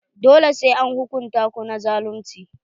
Dole sai an hukunta ku na zalunci.